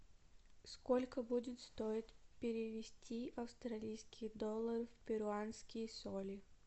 сколько будет стоить перевести австралийские доллары в перуанские соли